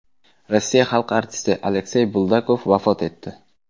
Rossiya xalq artisti Aleksey Buldakov vafot etdi.